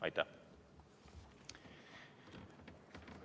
Aitäh!